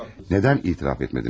Niyə etiraf etmədiniz?